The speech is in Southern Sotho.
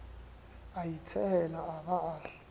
a itshehela a ba a